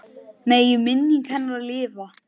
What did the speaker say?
Megi minning hennar lifa.